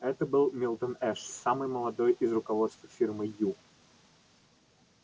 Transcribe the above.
это был милтон эш самый молодой из руководства фирмы ю